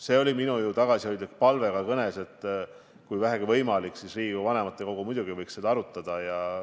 See oli ju minu tagasihoidlik palve ka kõnes, et kui on vähegi võimalik, siis võiks Riigikogu vanematekogu seda teemat arutada.